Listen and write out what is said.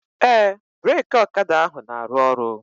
Ee, breki ọkada ahụ na-aru ọrụ